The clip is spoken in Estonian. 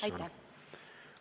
Aitäh!